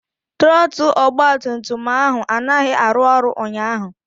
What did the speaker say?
Trọtụl ọgbatumtum ahụ anaghị arụ ọrụ ụnyaahụ.